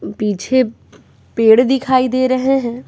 पीछे पेड़ दिखाई दे रहे हैं।